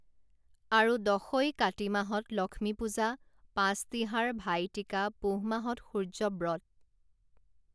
আৰু দশৈ কাতি মাহত লক্ষ্মীপূজা পাঁছতিহাৰ ভাইটিকা পুহ মাহত সূৰ্য্য ব্ৰত